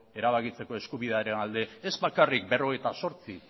erabakitzeko eskubidearen alde ez bakarrik berrogeita zortzi